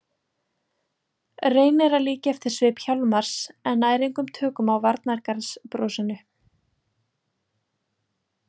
Reynir að líkja eftir svip Hjálmars en nær engum tökum á varnargarðsbrosinu.